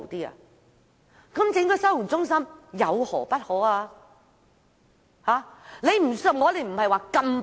那麼成立收容中心又有何不可呢？